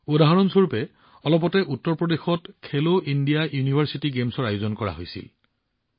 উদাহৰণস্বৰূপে শেহতীয়াকৈ উত্তৰ প্ৰদেশত খেলো ইণ্ডিয়া ইউনিভাৰ্চিটি গেমছৰ আয়োজন কৰা হৈছিল